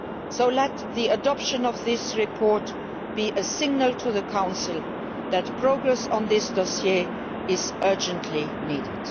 So let the adoption of this report be a signal to the Council that progress on this dossier is urgently needed.